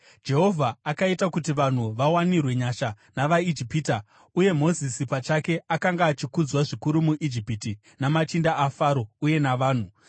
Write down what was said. Jehovha akaita kuti vanhu vawanirwe nyasha navaIjipita, uye Mozisi pachake akanga achikudzwa zvikuru muIjipiti namachinda aFaro uye navanhu.